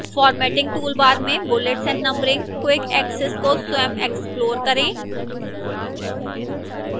formatting toolbar में bullets and numbering quick access को स्वयं explore करें